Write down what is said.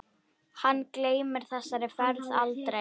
Hann gleymir þessari ferð aldrei.